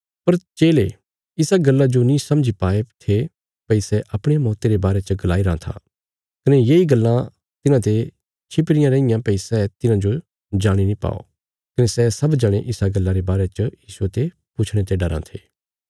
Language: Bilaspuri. पर चेले इसा गल्ला जो नीं समझी पाये थे भई सै अपणिया मौती रे बारे च गलाईरां था कने येई गल्लां तिन्हांते छिपीरी रैईयां भई सै तिन्हांजो जाणी नीं पाओ कने सै सब जणे इसा गल्ला रे बारे च यीशुये ते पुछणे ते डराँ थे